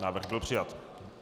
Návrh byl přijat.